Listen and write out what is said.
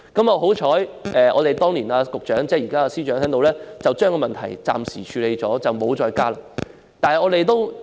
幸好，當年的局長即現任司長暫時把問題處理，以致沒有再加管理費。